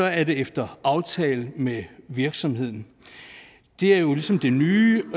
er det efter aftale med virksomheden det er jo ligesom det nye